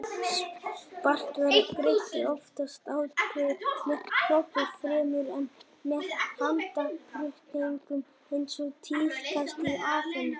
Spartverjar greiddu oftast atkvæði með hrópum fremur en með handauppréttingum eins og tíðkaðist í Aþenu.